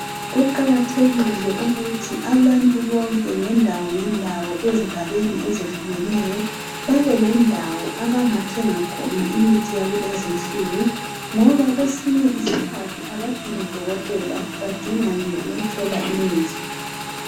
Kuqakathekile ukuthi abantu bonke ngendawo ngendawo ezigabeni ezehlukeneyo babe lendawo abangathenga khona imithi yakulezi nsuku ngoba kwesinye isikhathi abadingi dokotela abadinga nje ukuthola imithi.